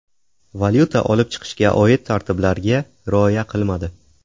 valyuta olib chiqishga oid tartiblarga rioya qilmadi.